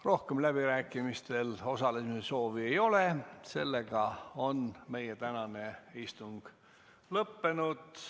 Rohkem läbirääkimistel osalemise soovi ei ole, meie tänane istung on lõppenud.